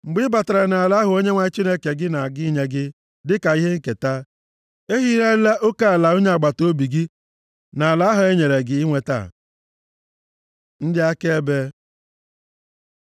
Mgbe ị batara nʼala ahụ Onyenwe anyị Chineke gị na-aga inye gị dịka ihe nketa, ehigharịla oke ala onye agbataobi gị nʼala ahụ enyere gị inweta. Ndị akaebe